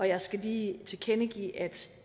jeg skal lige tilkendegive at